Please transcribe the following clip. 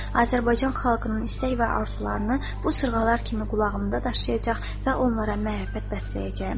Azərbaycan xalqının istək və arzularını bu sırğalar kimi qulağımda daşıyacaq və onlara məhəbbət bəsləyəcəyəm.